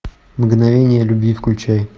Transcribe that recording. мгновения любви включай